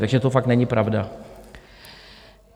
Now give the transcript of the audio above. Takže to fakt není pravda.